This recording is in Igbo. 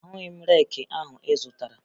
Ahụghị m reeki ahụ ị zụtara